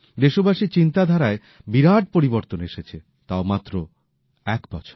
দেশবাসীর চিন্তাধারায় বিরাট পরিবর্তন এসেছে তাও মাত্র এক বছরে